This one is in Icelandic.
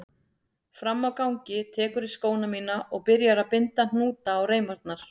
Frammi á gangi tekurðu skóna mína og byrjar að binda hnúta á reimarnar.